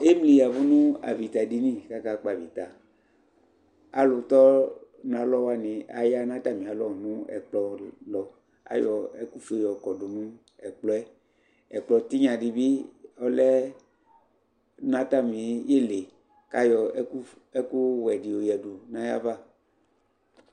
ɛmli yavʋ nʋ aƒita dini kʋ aka kpɔ avita, alʋtɔ nʋ alɔ wani aya nʋ atami alɔ nʋ ɛkplɔ lʋ ayɔ ɛkʋ ƒʋɛ yɔkɔdʋ nʋ ɛkplɔɛ ɛkplɔ tinya dibi ɔlɛ nʋ atami ili kʋ ayɔ ɛkʋ wɛ di yɔyɛdʋ nʋ ayiava